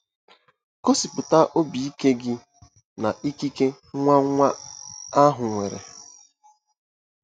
Gosipụta obi ike gị na ikike nwa nwa ahụ nwere.